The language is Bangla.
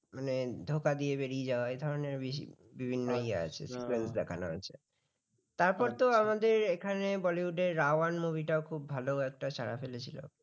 তারপর তো আমাদের এখানে bollywood রা ওয়ান movie টা খুব ভালো একটা সারা ফেলেছিল